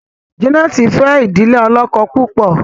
Janet fe idile olókó púpọ.